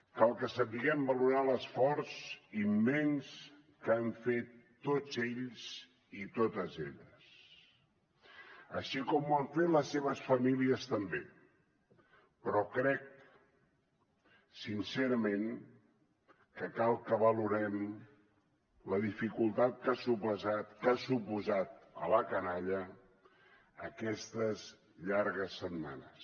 cal que sapiguem valorar l’esforç immens que han fet tots ells i totes elles així com ho han fet les seves famílies també però crec sincerament que cal que valorem la dificultat que han suposat per a la canalla aquestes llargues setmanes